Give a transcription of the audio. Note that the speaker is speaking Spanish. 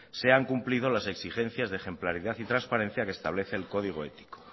se han cumplidos las exigencias de ejemplaridad y transparencia que establece el código ético